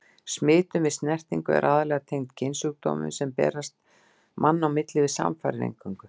Smitun við snertingu er aðallega tengd kynsjúkdómum, sem berast á milli manna við samfarir eingöngu.